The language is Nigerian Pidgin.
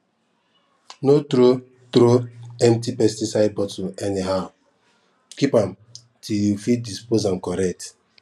no throw throw empty pesticide bottle anyhow keep am till you fit dispose am correct